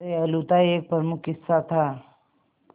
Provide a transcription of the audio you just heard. दयालुता एक प्रमुख हिस्सा था